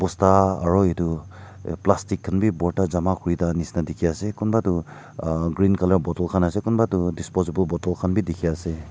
aru itu plastic khan bi borta jama kuri thaka nishia dikhi ase kunba tu ah green colour bottle khan ase konba tu disposable bottle khan bi dikhi ase.